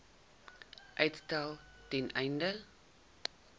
uitstel ten einde